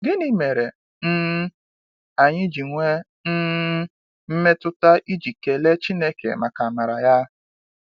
Gịnị mere um anyị ji nwee um mmetụta iji kelee Chineke maka amara ya?